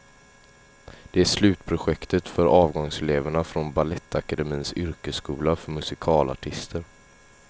Det är slutprojektet för avgångseleverna från balettakademins yrkesskola för musikalartister.